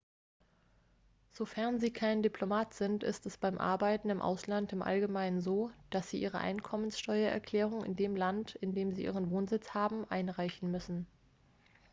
sofern sie kein diplomat sind ist es beim arbeiten im ausland im allgemeinen so dass sie ihre einkommensteuererklärung in dem land in dem sie ihren wohnsitz haben einreichen müssen